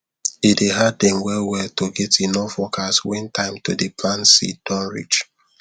e dey hard them well well to get enough workers when time to dey plant seed don reach